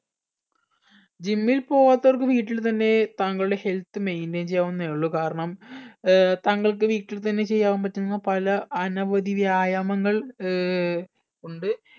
gym ൽ പോവാത്തവർക്ക് വീട്ടിൽ തന്നെ താങ്കളുടെ health maintain ചെയ്യാവുന്നെ ഉള്ളു കാരണം ഏർ താങ്കൾക്ക് വീട്ടിൽ തന്നെ ചെയ്യാൻ പറ്റുന്ന പല അനവധി വ്യായാമങ്ങൾ ഏർ ഉണ്ട്